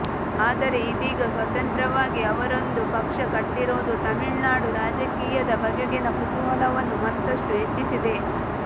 ಆದರೆ ಇದೀಗ ಸ್ವತಂತ್ರವಾಗಿ ಅವರೊಂದು ಪಕ್ಷ ಕಟ್ಟಿರುವುದು ತಮಿಳುನಾಡು ರಾಜಕೀಯದ ಬಗೆಗಿನ ಕುತೂಹಲವನ್ನು ಮತ್ತಷ್ಟು ಹೆಚ್ಚಿಸಿದೆ